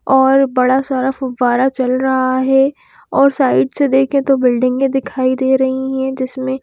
और बड़ा सारा फुब्बारा चल रहा है और साइड से देखें तो बिल्डिंगें दिखाई दे रही हैं जिसमें--